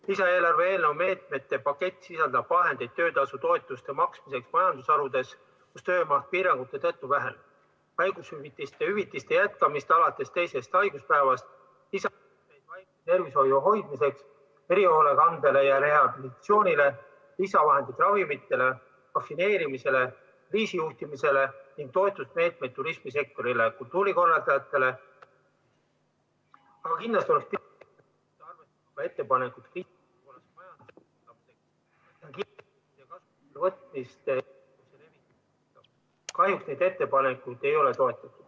Lisaeelarve eelnõu meetmete pakett sisaldab vahendeid töötasutoetuste maksmiseks majandusharudes, kus töömaht piirangute tõttu vähenes, haigushüvitiste maksmiseks alates teisest haiguspäevast, samuti lisaraha tervishoiuks, erihoolekandeks ja rehabilitatsiooniks, ravimite ja vaktsineerimise eest tasumiseks, kriisijuhtimisele ning toetusmeetmeid turismisektorile, kultuurikorraldajatele ...